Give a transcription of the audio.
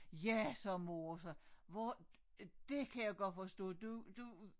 Ja sagde mor så hvor det kan jeg godt forstå du du